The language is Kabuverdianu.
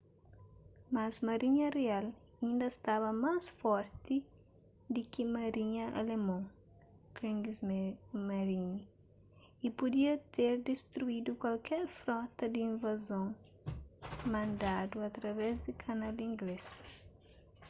mas marinha rial inda staba más forti di ki marinha alemon kriegsmarine” y pudia ter distruidu kualker frota di invazon mandadu através di kanal inglês